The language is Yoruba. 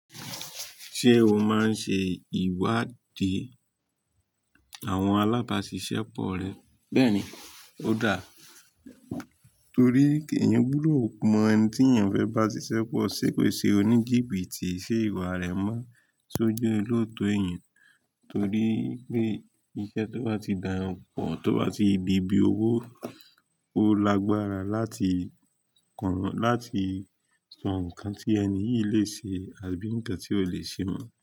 Ṣé o máa ń ṣe ìwádìí àwọn alábáṣiṣẹ́ pọ rẹ? Bẹ́ẹ̀ni, ó dáa. Torí èèyàn gbúdọ̀ mọ ẹni tí èèyàn fẹ́ bá ṣiṣẹ́ pọ̀, ṣé kò ṣe oní jìbìtì, ṣé ìwà rẹ̀ mọ́ sójú olòótọ́ èèyàn? Torí pé iṣẹ́ tó bá ti dá yan pọ̀, tó bá ti di ibi owó, ó lágbára láti kàn án, láti sọ nǹkan tí ẹni yìí lè ṣe àbí ǹkan tí ò lè ṣe mọ́